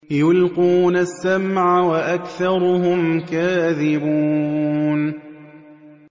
يُلْقُونَ السَّمْعَ وَأَكْثَرُهُمْ كَاذِبُونَ